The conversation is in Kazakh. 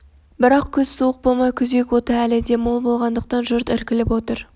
бірақ күз суық болмай күзек оты әлі де мол болғандықтан жұрт іркіліп отыр